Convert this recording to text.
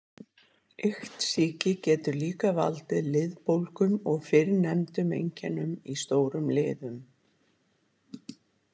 Iktsýki getur líka valdið liðbólgum og fyrrnefndum einkennum í stórum liðum.